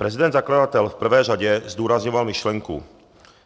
Prezident zakladatel v prvé řadě zdůrazňoval myšlenku: